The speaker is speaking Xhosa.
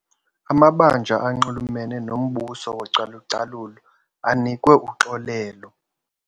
Amabanjwa anxulumene nombuso wocalucalulo anikwe uxolelo.